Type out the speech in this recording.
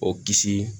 O kisi